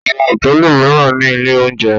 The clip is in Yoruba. Àwọn hòtẹ́ẹ́lì mìíràn ní ilé-oúnjẹ.